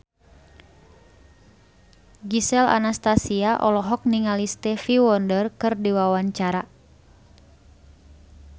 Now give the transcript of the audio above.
Gisel Anastasia olohok ningali Stevie Wonder keur diwawancara